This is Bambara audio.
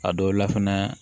A dɔw la fɛnɛ